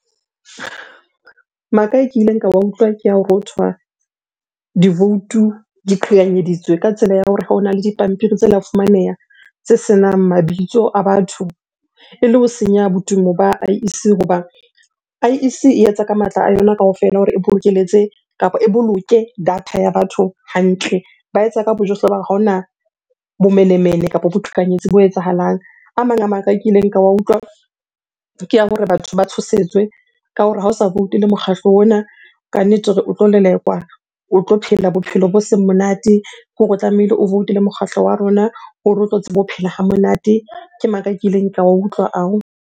Maka e ke ileng ka wa utlwa ke ha hothwa divoutu di qhekanyeditswe ka tsela ya hore ha ona le dipampiri tse la fumaneha tse senang mabitso a batho ele ho senya botumo ba I_E_C. Hoba I_E_C e etsa ka matla a yona kaofela hore e bokelletse kapa e boloke data ya batho hantle. Ba etsa ka bojohle ba ha hona bomenemene kapa boqhekanyetsi bo etsahalang. A mang a maka e kileng ka wa utlwa ke ya hore batho ba tshosetswe ka hore ha o sa voutele mokgatlo ona, kannete o tlo lelekwa, o tlo phela bophelo bo seng monate. Ke hore o tlamehile o voutele mokgahlo wa rona hore o tlo tsebe ho phela ha monate. Ke maka kileng ka wa utlwa ao.